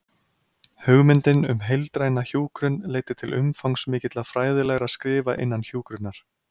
Hugmyndin um heildræna hjúkrun leiddi til umfangsmikilla fræðilegra skrifa innan hjúkrunar.